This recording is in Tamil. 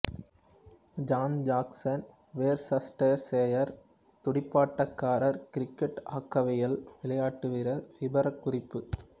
ஜான் ஜாக்சன் வோர்சஸ்டர்செயர் துடுப்பாட்டக்காரர் கிரிக்கட் ஆக்கைவில் விளையாட்டுவீரர் விபரக்குறிப்பு